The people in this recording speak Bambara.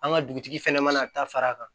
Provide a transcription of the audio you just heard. An ka dugutigi fɛnɛ mana a ta fara a kan